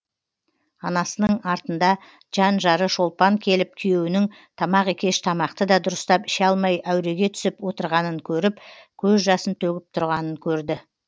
анасының артында жан жары шолпан келіп күйеуінің тамақ екеш тамақты да дұрыстап іше алмай әуреге түсіп отырғанын көріп көз жасын төгіп тұрғанын көрді